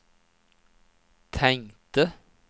tänkte